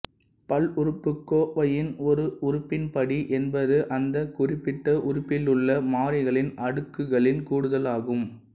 பல்லுறுப்புக்கோவையின் ஒரு உறுப்பின் படி என்பது அந்தக் குறிப்பிட்ட உறுப்பிலுள்ள மாறிகளின் அடுக்குகளின் கூடுதலாகும்